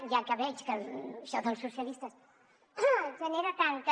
ja que veig que això dels socialistes genera tanta